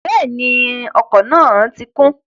Bẹ́ẹ̀ni, ọkọ̀ náà ti kún